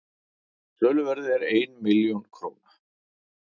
söluverðið er einn milljón króna